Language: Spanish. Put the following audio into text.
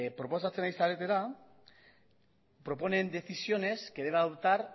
proposatzen ari zaretena proponen decisiones que debe adoptar